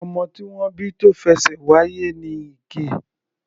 Ọmọ tí wọ́n bí tó fẹṣẹ̀ wáyé ni Ige.